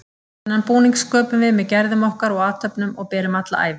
Þennan búning sköpum við með gerðum okkar og athöfnum og berum alla ævi.